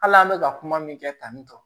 Hali an bɛ ka kuma min kɛ tan nin tɔ